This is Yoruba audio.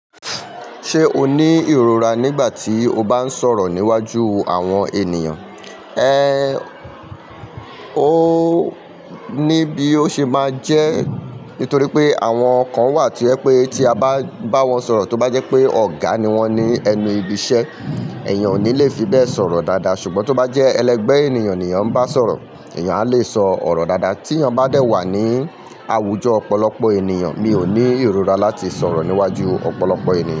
Ṣé o ní ìrora nígbà tí o bá ń sọ̀rọ̀ níwájú àwọn ènìyàn? Ẹ, ó, ní bí ó ṣe máa jẹ́. Nítorí pé àwọn kan wà tí o jẹ pé tí a bá bá wọn sọ̀rọ̀ tó bá jẹ́ pé ọ̀gá ni wọ́n ní ẹnu ibi iṣẹ́, èèyàn ò ní le fi bẹ́ẹ̀ sọ̀rọ̀ dáadáa. Ṣùgbọ́n tó bá jẹ́ ẹlẹgbẹ́ ènìyàn ni èèyàn n bá sọ̀rọ̀, èèyàn á le sọ ọ̀rọ̀ dáadáa. Tí èèyàn bá dẹ̀ wà ní àwùjọ ọ̀pọ̀lọpọ̀ ènìyàn, mi ò ní ìrora láti sọ̀rọ̀ níwájú ọ̀pọ̀lọpọ̀ ènìyàn.